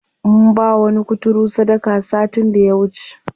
Mun bawa wani kuturu sadaka satin da ya wuce.